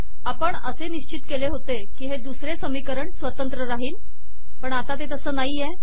आपण असे निश्चित केले होते की हे दुसरे समीकरण स्वतंत्र राहील पण आता ते तसे नाह